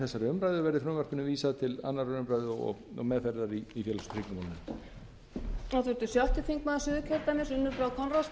þessari umræðu verði frumvarpinu vísað til annarrar umræðu og meðferðar í félags og tryggingamálanfnd